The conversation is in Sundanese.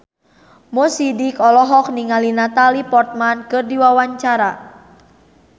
Mo Sidik olohok ningali Natalie Portman keur diwawancara